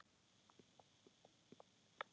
Þar með var það búið.